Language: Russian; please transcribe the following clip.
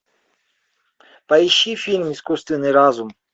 поищи фильм искусственный разум